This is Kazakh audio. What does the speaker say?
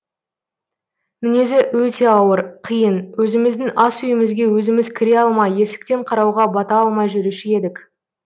мінезі өте ауыр қиын өзіміздің ас үйімізге өзіміз кіре алмай есіктен қарауға бата алмай жүруші едік